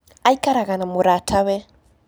Aikaraga na mũratawe.